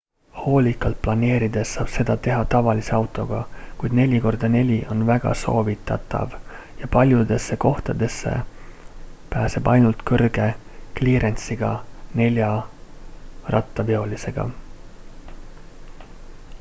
hoolikalt planeerides saab seda teha tavalise autoga kuid 4x4 on väga soovitatav ja paljudesse kohtadesse pääseb ainult kõrge kliirensiga neljarattaveolisega